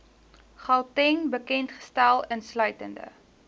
gauteng bekendgestel insluitende